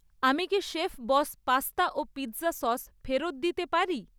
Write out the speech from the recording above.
আমি কি শেফবস পাস্তা ও পিৎজা সস ফেরত দিতে পারি?